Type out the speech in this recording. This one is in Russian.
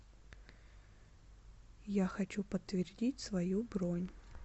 я хочу подтвердить свою бронь